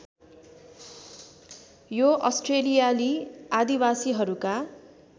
यो अस्ट्रेलियाली आदिवासीहरूका